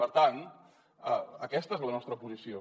per tant aquesta és la nostra posició